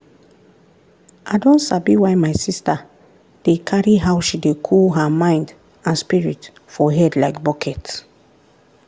i don sabi why my sister dey carry how she dey cool her mind and spirit for head like bucket.